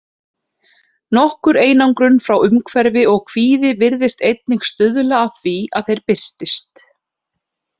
Nokkur einangrun frá umhverfi og kvíði virðast einnig stuðla að því að þeir birtist.